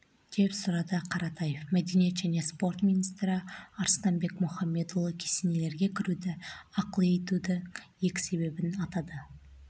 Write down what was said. деп сұрады қаратаев мәдениет және спорт министрі арыстанбек мұхамедиұлы кесенелерге кіруді ақылы етудің екі себебін атады